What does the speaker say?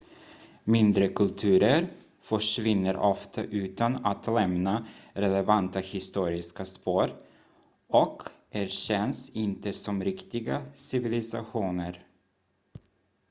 mindre kulturer försvinner ofta utan att lämna relevanta historiska spår och erkänns inte som riktiga civilisationer